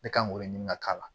Ne kan k'o de ɲini ka k'a la